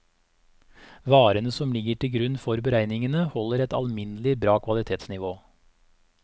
Varene som ligger til grunn for beregningene holder et alminnelig bra kvalitetsnivå.